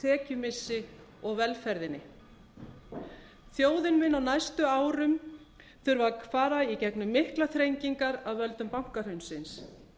tekjumissi og velferðinni þjóðin mun á næstu árum þurfa að fara í gegnum miklar þrengingar af völdum bankahrunsins